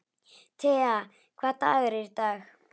Tea, hvaða dagur er í dag?